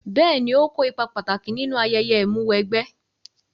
Bẹ́ẹ̀ni ó kó ipa pàtàkì nínú ayẹyẹ Ìmúw'ẹgbẹ́